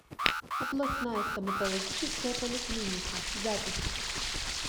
областная стоматологическая поликлиника запись